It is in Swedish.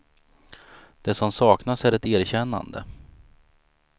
Det som saknas är ett erkännande.